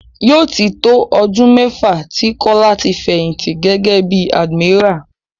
Yóò tí tó ọdún mẹ́fà tí Kọ́lá ti fẹ̀yìnti gẹ́gẹ́ bí admiral.